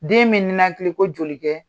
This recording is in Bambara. Den bɛ ninakili ko joli kɛ?